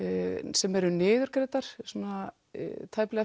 sem eru niðurgreiddar svona